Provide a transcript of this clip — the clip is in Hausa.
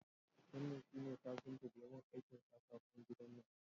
Wannan shi ne kafinta daya mun aikin katakon gidan nan